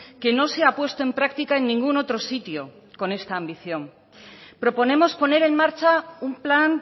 que no se ha puesto en práctica en ningún otro sitio con esta ambición proponemos poner en marcha un plan